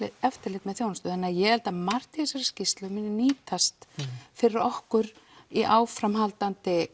eftirlit með þjónust þannig ég held að margt í þessari skýrslu muni nýtast fyrir okkur í áframhaldandi